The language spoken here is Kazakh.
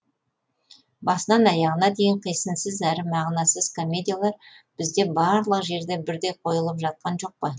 басынан аяғына дейін қисынсыз әрі мағынасыз комедиялар бізде барлық жерде бірдей қойылып жатқан жоқ па